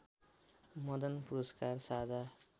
मदन पुरस्कार साझा